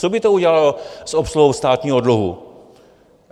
Co by to udělalo s obsluhou státního dluhu?